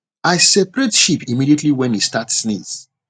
i separate sheep immediately when e start sneeze